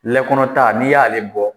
kɛ kɔnɔta n'i y'ale bɔ.